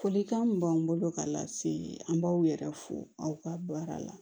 Folikan min b'an bolo ka lase an b'aw yɛrɛ fo aw ka baara la